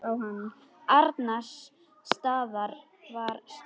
Annars staðar var slökkt.